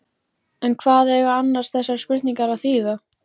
En hvað eiga annars þessar spurningar að þýða?